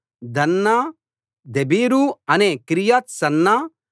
దన్నా దెబీర్ అనే కిర్యత్ సన్నా